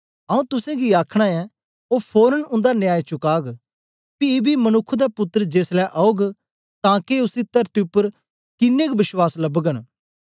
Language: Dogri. आऊँ तुसेंगी आखना ऐं ओ फोरन उन्दा न्याय चुकाग पी बी मनुक्ख दा पुत्तर जेसलै औग तां के उसी तरती उपर किनेंग बश्वास लबगन